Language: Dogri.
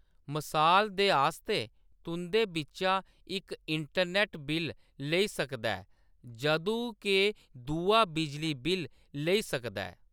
मसाल दे आस्तै तुं'दे बिच्चा इक इंटरनेट बिल्ल लेई सकदा ऐ जदूं के दूआ बिजली बिल्ल लेई सकदा ऐ।